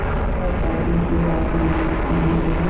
क्या शादी के आगे ज़िन्दगी ही नहीं